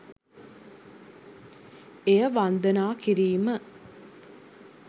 එය වන්දනා කිරීම